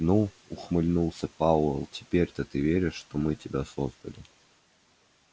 ну ухмыльнулся пауэлл теперь-то ты веришь что мы тебя создали